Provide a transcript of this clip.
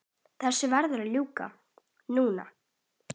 Þessu verður að ljúka núna